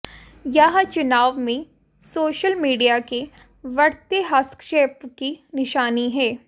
यह चुनावों में सोशल मीडिया के बढ़ते हस्तक्षेप की निशानी है